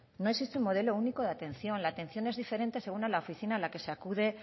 no existe un modelo único de atención la atención es diferente según en la oficina en la que se acude